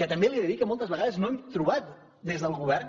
que també li he de dir que moltes vegades no hem trobat des del govern